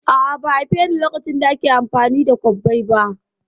A'a, ba'a haifeni lokacin da ake amfani da kwabbai ba